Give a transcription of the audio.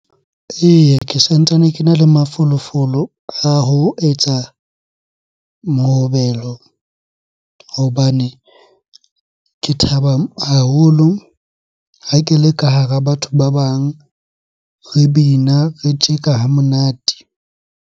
Eya, ke santsane kena le mafolofolo a ho etsa mohobelo hobane ke thaba haholo ha ke le ka hara batho ba bang, re bina, re tjeka ha monate.